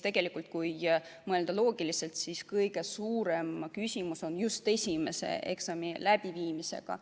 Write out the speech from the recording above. Tegelikult, kui mõelda loogiliselt, siis kõige suurem küsimus on just esimese eksami läbiviimisega.